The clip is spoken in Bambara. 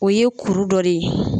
O ye kuru dɔ de ye.